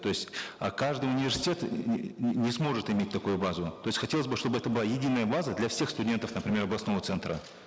то есть э каждый университет не сможет иметь такую базу то есть хотелось бы чтобы это была единая база для всех студентов например областного центра